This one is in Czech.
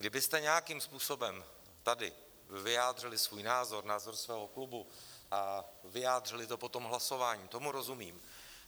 Kdybyste nějakým způsobem tady vyjádřili svůj názor, názor svého klubu a vyjádřili to potom hlasováním, tomu rozumím.